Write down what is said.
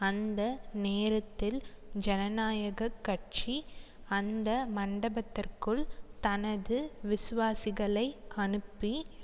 அந்த நேரத்தில் ஜனநாயக கட்சி அந்த மண்டபத்திற்குள் தனது விசுவாசிகளை அனுப்பி